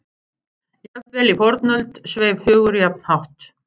Jafnvel í fornöld sveif hugur jafn hátt.